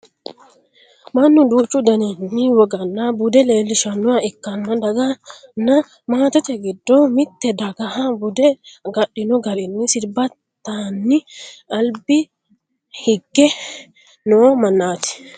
Mannu duuchu daninni woganna bude leellishannoha ikkanna daganna maatete giddo mitte dagaha bude agadhino garinni sirbitanni alba higge noo mannaati